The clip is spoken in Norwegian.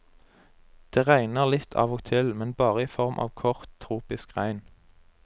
Det regner litt av og til, men bare i form av kort, tropisk regn.